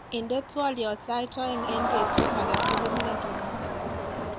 inde twolyot sait oeng en betut agetugul wigini